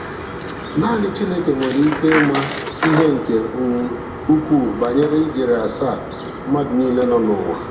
Naanị Chineke nwere ike ịma ihe nke um ukwuu banyere ijeri asaa mmadụ niile nọ n'ụwa.